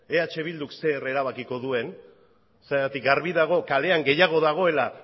eh bilduk zer erabakiko duen zergatik argi dago kalean gehiago dagoela